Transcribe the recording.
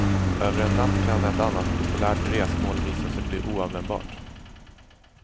Över en natt kan ett annars populärt resmål visa sig bli oanvändbart.